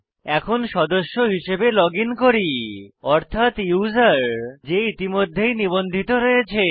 এখন সদস্য হিসাবে লজিন করি অর্থাত ইউসার যে ইতিমধ্যেই নিবন্ধিত রয়েছে